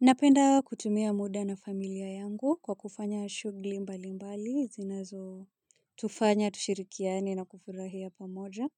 Napenda kutumia muda na familia yangu kwa kufanya shughuli mbali mbali, zinazotufanya, tushirikiane na kufurahia pamoja.